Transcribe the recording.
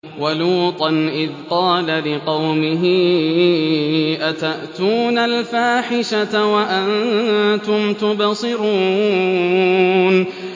وَلُوطًا إِذْ قَالَ لِقَوْمِهِ أَتَأْتُونَ الْفَاحِشَةَ وَأَنتُمْ تُبْصِرُونَ